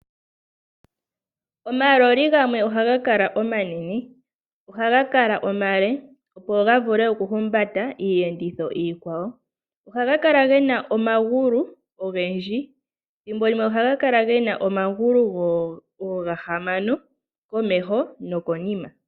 Omaloli gamwe ohaga kala omanene. Ohaga kala omale, opo ga vule okuhumbata iiyenditho iikwawo. Ohaga kala ge na omagulu ogendji. Thimbo limwe ohaga kala ge na omagulu oogahamano komeho nokonima.